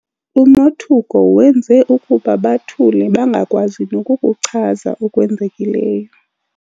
Umothuko wenze ukuba bathule bangakwazi nokukuchaza okwenzekileyo.